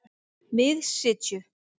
Miðsitju